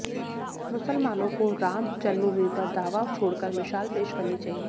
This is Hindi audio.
मुसलमानों को राम जन्मभूमि पर दावा छोड़कर मिशाल पेश करनी चाहिए